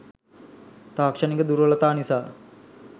තාක්ෂණික දුර්වලතා නිසා